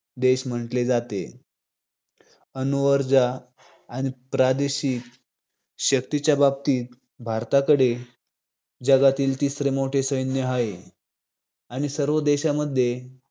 देश म्हंटले जाते. अणुऊर्जा आणि प्रादेशिक शक्तींच्या बाबतीत, भारताकडे जगातील तिसरे मोठे सैन्य आहे आणि सर्व देशांमध्ये